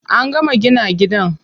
An gama gina gidan.